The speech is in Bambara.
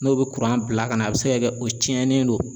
N'o bɛ bila ka na a bɛ se ka kɛ o cɛnnen do.